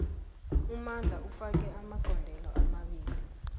umandla ufake amagondelo amabili